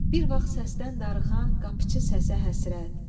Bir vaxt səsdən darıxan qapıçı səsə həsrət.